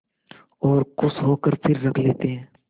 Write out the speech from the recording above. और खुश होकर फिर रख लेते हैं